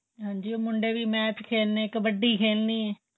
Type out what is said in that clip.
ਹਾਂਜੀ ਉਹ ਮੁੰਡੇ ਵੀ match ਖੇਲਣੇ ਕਬੱਡੀ ਖੇਲ੍ਣੀ